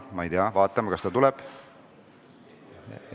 Ma ei tea, kas ta tuleb.